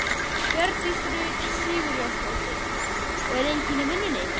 Hjördís Rut Sigurjónsdóttir: Og enginn í vinnunni?